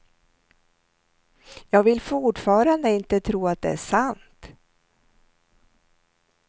Jag vill fortfarande inte tro att det är sant.